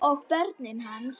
Og börnin hans.